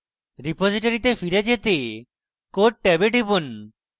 রিপোজিটরীতে ফিরে যেতে code ট্যাবে টিপুন